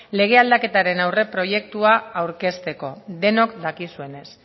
lege aldaketaren aurreproiektua aurkezteko denok dakizuenez